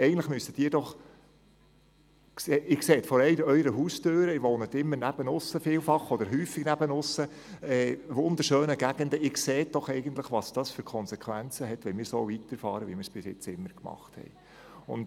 Oft wohnen Sie auf dem Land in wunderschönen Gegenden und können gleich vor der Haustüre sehen, welche Konsequenzen es hat, wenn wir so weiterfahren, wie wir es bisher immer gemacht haben.